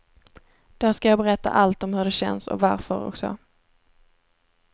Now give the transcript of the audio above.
Då ska jag berätta allt om hur det känns och varför och så.